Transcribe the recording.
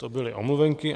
To byly omluvenky.